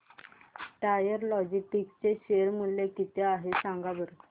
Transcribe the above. tiger Logistics चे share मूल्य किती आहे सांगा बरं